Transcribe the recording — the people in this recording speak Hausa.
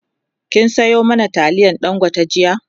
kin Sayo mana taliyar dangote jiya?